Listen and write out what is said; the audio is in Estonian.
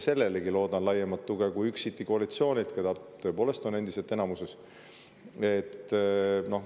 Sellelegi loodan laiemat tuge kui üksiti koalitsioonilt, kes tõepoolest on endiselt enamuses.